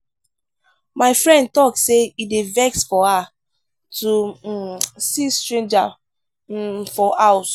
my friend tok sey e dey vex her to um see stranger um for house.